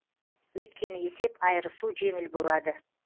өйткені есеп айырысу жеңіл болады